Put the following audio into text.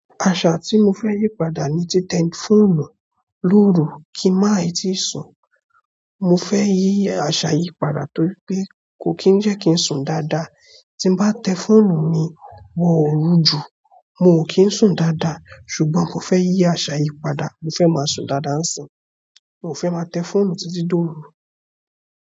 Àṣà tí mo fẹ́ yí padà ni ti tẹ fóònù lóru kí máì tíì sùn. Mo fẹ́ yí àṣà yìí padà torí pé kò kí ń jẹ́ kí n sùn dáadáa. Tí bá tẹ fóònù mi wọ òru ju, mo ò kí ń sùn dáadáa. Ṣùgbọ́n mo fẹ́ yí asa yìí padà. Mo fẹ́ máa sùn dáadáa níìsín, moo fẹ́ máa tẹ fóònù títí tó òru.